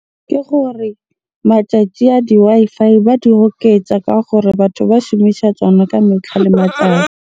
Ke gore matšatši a di-Wi-Fi ba di oketsa ka gore batho ba shumisa tsona ka metlha le matsatsi.